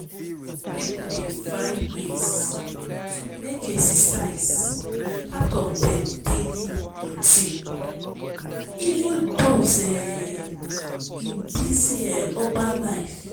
people dey find ways to make exercise part of dem daily routine even those um in busy um urban life.